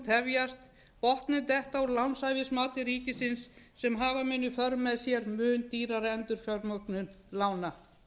tefjast og botninn detta úr lánshæfismati ríkisins sem hafa mun í för með sér mun dýrari endurfjármögnun lána